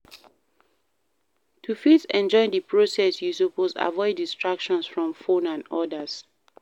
To fit enjoy di process you suppose avoid distractions from phone and others